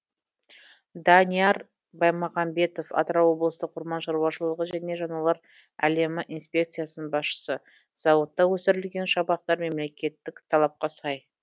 данияр баймағамбетов атырау облыстық орман шаруашылығы және жануарлар әлемі инспекциясының басшысы зауытта өсірілген шабақтар мемлекеттік талапқа сай